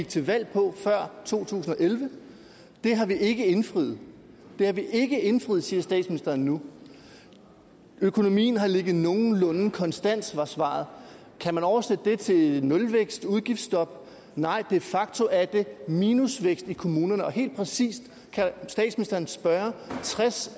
til valg på før to tusind og elleve har vi ikke indfriet det har vi ikke indfriet siger statsministeren nu økonomien har ligget nogenlunde konstant var svaret kan man oversætte det til nulvækst udgiftsstop nej de facto er det minusvækst i kommunerne helt præcis kan statsministeren spørge tres